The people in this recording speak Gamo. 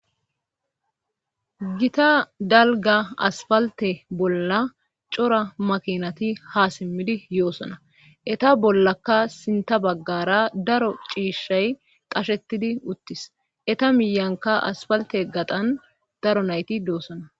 gita dalga aspalte bolla cora makinati ha simmidi yoosona eta bollaka sinta baggara daro ciishshay qashetidi uttis eta miyanka asfalte gatan daro nayti doossona